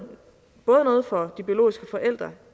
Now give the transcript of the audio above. noget for de biologiske forældre